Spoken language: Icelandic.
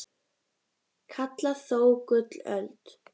kalla þó gullöld